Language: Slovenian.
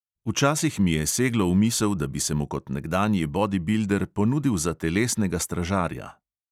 Včasih mi je seglo v misel, da bi se mu kot nekdanji bodibilder ponudil za telesnega stražarja.